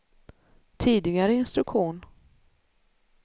tidigare instruktion